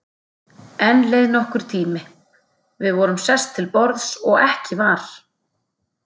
Enn leið nokkur tími, við vorum sest til borðs og ekki var